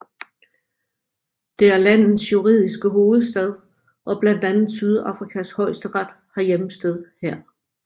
Det er landets juridiske hovedstad og blandt andet Sydafrikas højesteret har hjemsted her